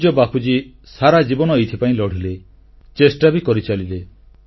ପୂଜ୍ୟ ବାପୁଜୀ ସାରା ଜୀବନ ଏଇଥିପାଇଁ ଲଢ଼ିଲେ ଚେଷ୍ଟା ବି କରିଚାଲିଲେ